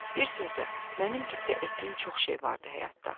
Bir sözlə, mənim qibtə etdiyim çox şey vardı həyatda.